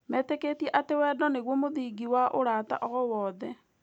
Metĩkĩtie atĩ wendo nĩguo mũthingi wa ũrata o wothe.